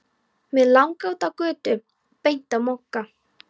Mig langaði út á götu og beint á Mokka.